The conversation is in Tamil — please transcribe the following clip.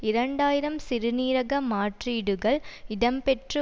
இரண்டு ஆயிரம் சிறுநீரக மாற்றீடுகள் இடம்பெற்று